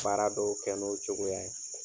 Baara dɔw kɛ n'o cogoya ye